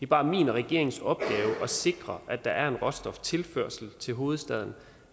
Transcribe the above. bare min regerings opgave at sikre at der er en råstoftilførsel til hovedstaden